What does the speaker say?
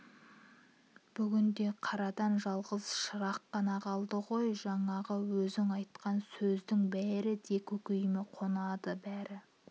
бүгінде қарадан жалғыз шырақ қана қалды ғой жаңағы өзің айтқан сөздің бәрі де көкейіме қонады бәрі